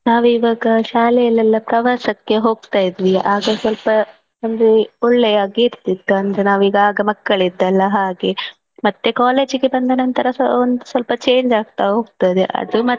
ನಾವೀವಗ ಶಾಲೆಯಲ್ಲೆಲ್ಲಾ ಪ್ರವಾಸಕ್ಕೆ ಹೋಗ್ತಾಇದ್ವಿ ಆಗ ಸ್ವಲ್ಪ ಒಂದು ಒಳ್ಳೆಯ ಕೀರ್ತಿ ಇತ್ತು ಅಂದ್ರೆ ನಾವೀಗ ಆಗ ಮಕ್ಕಳಿದ್ದಲ್ಲಾ ಹಾಗೆ ಮತ್ತೆ college ಗೆ ಬಂದ ನಂತರ ಒಂದು ಸ್ವಲ್ಪ change ಆಗ್ತಾ ಹೋಗ್ತದೆ ಅದು.